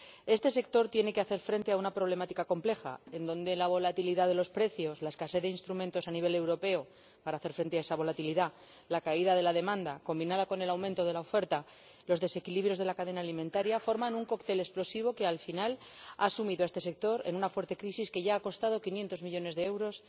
Este sector tiene que hacer frente a una problemática compleja, donde la volatilidad de los precios, la escasez de instrumentos a nivel europeo para hacer frente a esa volatilidad, la caída de la demanda combinada con el aumento de la oferta y los desequilibrios de la cadena alimentaria forman un cóctel explosivo que al final ha sumido a este sector en una fuerte crisis que ya ha costado 500 millones de euros